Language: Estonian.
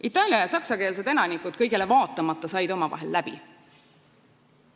" Itaalia- ja saksakeelsed elanikud said kõigele vaatamata omavahel läbi.